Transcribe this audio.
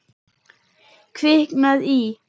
Kviknað í.